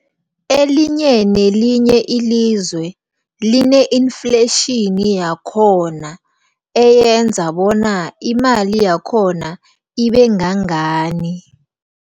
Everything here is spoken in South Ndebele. Elinye nelinye ilizwe line-inflation yakhona eyenza bona imali yakhona ibengangani.